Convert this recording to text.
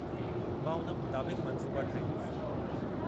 मां उन मुताबिक़ु मंसूबा ठाहींदुसि।